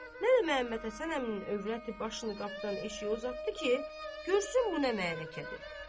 Nə də Məhəmməd Həsən əminin övrəti başını qapıdan eşiyə uzatdı ki, görsün bu nə mərakədir.